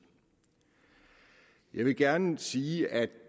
jeg vil gerne sige at